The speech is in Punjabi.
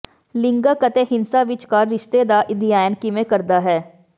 ਲਿੰਗਕ ਅਤੇ ਹਿੰਸਾ ਵਿਚਕਾਰ ਰਿਸ਼ਤਾ ਦਾ ਅਧਿਐਨ ਕਿਵੇਂ ਕਰਦਾ ਹੈ